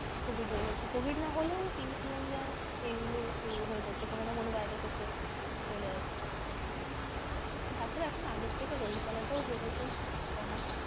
Covid হয়ে যাচ্ছে covid না হলেও influenza এগুলো হয়ে যাচ্ছে কোনো না কোনো virus হচ্ছে চলে আসছে। তারপরে এখন আগের থেকে রোগ জালা টাও বেড়েছে অনেক।